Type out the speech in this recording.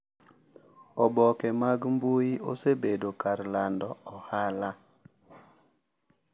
Oboke mag mbui osebedo kar lando ohala